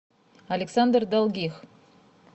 александр долгих